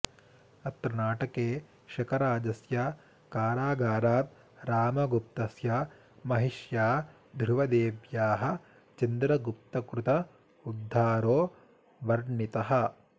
अत्र नाटके शकराजस्य कारागारात् रामगुप्तस्य महिष्या ध्रुवदेव्याः चन्द्रगुप्तकृत उध्दारो वर्णितः